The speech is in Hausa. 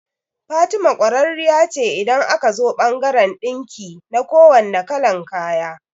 Fatima kwararriya ce idan aka zo bangaran ɗinki na kuwanne kalan kaya